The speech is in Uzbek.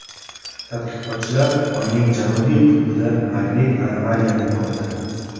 Tadqiqotchilar Oyning janubiy qutbida magnit anomaliyani topdi.